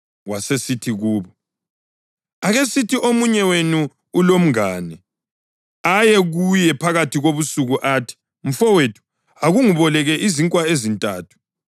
Wasesithi kubo, “Akesithi omunye wenu ulomngane, aye kuye phakathi kobusuku athi, ‘Mfowethu, akungeboleke izinkwa ezintathu,